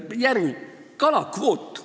Järgmine, kalakvoot.